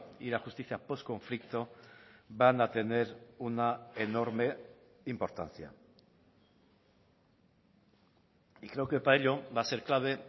y la justicia postconflicto van a tener una enorme importancia y creo que para ello va a ser clave